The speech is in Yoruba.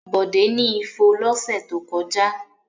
Bọ̀dé ni ifo lọ́sẹ̀ tó kọjá.